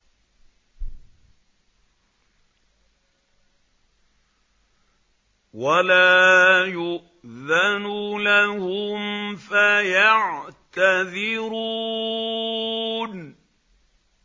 وَلَا يُؤْذَنُ لَهُمْ فَيَعْتَذِرُونَ